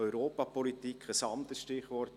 Europapolitik, ein anders Stichwort;